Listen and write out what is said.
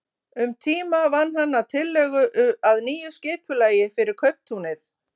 Um tíma vann hann að tillögu að nýju skipulagi fyrir kauptúnið.